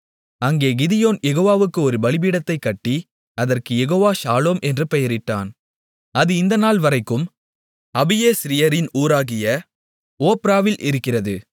அங்கே கிதியோன் யெகோவாவுக்கு ஒரு பலிபீடத்தைக் கட்டி அதற்கு யெகோவா ஷாலோம் என்று பெயரிட்டான் அது இந்த நாள்வரைக்கும் அபியேஸ்ரியரின் ஊராகிய ஒப்ராவில் இருக்கிறது